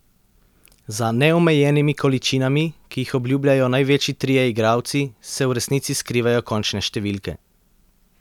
Za neomejenimi količinami, ki jih obljubljajo največji trije igralci, se v resnici skrivajo končne številke.